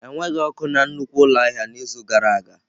Enweghị ọkụ na nnukwu ụlọ ahịa n'izu gara aga.